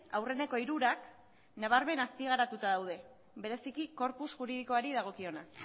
aurreneko hirurak nabarmen azpigaratuta daude bereziki korpus juridikoari dagokiona